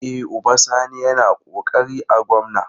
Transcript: E, Uba Sani yana ƙoƙari a gwamna.